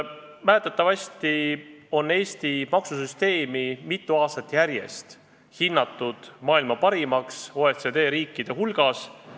Mäletatavasti on Eesti maksusüsteemi mitu aastat järjest hinnatud maailma parimaks OECD riikide hulgas.